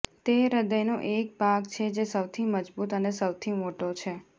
તે હૃદયનો એક ભાગ છે જે સૌથી મજબૂત અને સૌથી મોટો છે